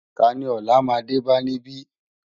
Táni òlá má dé bá nibi?